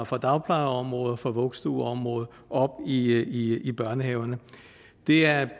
fra dagplejeområdet og fra vuggestueområdet op i i børnehaverne det er